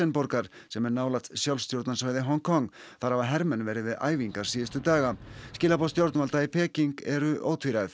borgar sem er nálægt sjálfstjórnarsvæði Hong Kong þar hafa hermenn verið við æfingar síðustu daga skilaboð stjórnvalda í Peking eru ótvíræð